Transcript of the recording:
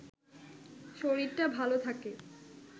শরীরটা ভালো থাকে